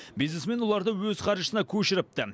бизнесмен оларды өз қаржысына көшіріпті